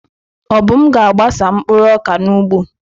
Obum ga-agbasa mkpụrụ ọka n'ugbo.